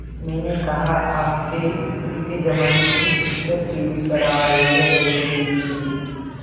मैंने कहा आपके स्कूल के ज़माने की पिक्चर टीवी पर आ रही है देख लीजिये